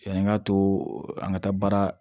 Yani an ka to an ka taa baara